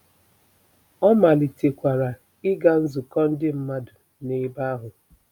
Ọ malitekwara ịga nzukọ ndị mmadụ n’ebe ahụ.